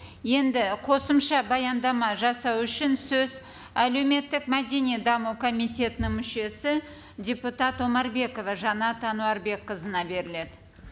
енді қосымша баяндама жасау үшін сөз әлеуметтік мәдени даму комитетінің мүшесі депутат омарбекова жанат әнуәрбекқызына беріледі